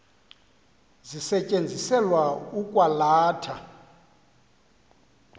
zisetyenziselwa ukwa latha